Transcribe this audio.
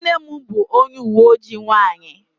Nne m bụ onye uwe ojii nwanyị.